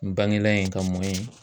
N bangela yen ka mɔn yen